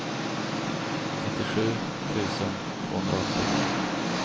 nittiosju tusen tvåhundraåttio